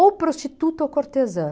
Ou prostituta ou cortesã.